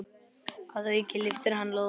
Að auki lyftir hann lóðum.